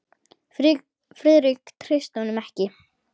Friðrik treysti honum ekki.